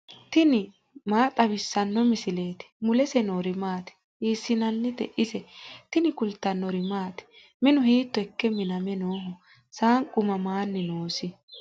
tini maa xawissanno misileeti ? mulese noori maati ? hiissinannite ise ? tini kultannori maati? Minu hiitto ikke miname nooho? Saanqu mamani noosi?